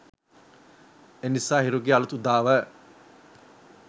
එනිසා හිරුගේ අලූත් උදාව